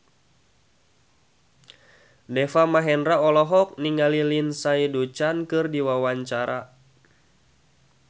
Deva Mahendra olohok ningali Lindsay Ducan keur diwawancara